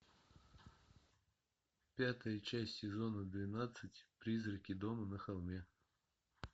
пятая часть сезона двенадцать призраки дома на холме